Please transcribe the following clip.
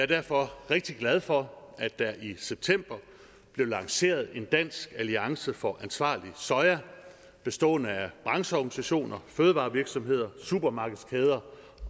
derfor rigtig glad for at der i september blev lanceret dansk alliance for ansvarlig soja bestående af brancheorganisationer fødevarevirksomheder supermarkedskæder